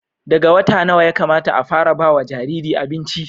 daga wata nawa Yakamata a fara bawa Jariri abinci